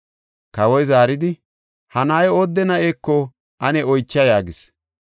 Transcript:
Kawoy zaaridi, “Ha na7ay oodde na7eko ane oycha” yaagis.